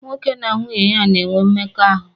Nwoke na nwunye ya na-enwe mmekọahụ